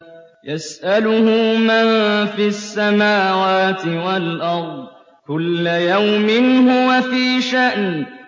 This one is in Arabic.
يَسْأَلُهُ مَن فِي السَّمَاوَاتِ وَالْأَرْضِ ۚ كُلَّ يَوْمٍ هُوَ فِي شَأْنٍ